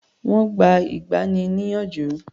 Wọ́n gba ìgbani-níyànjú.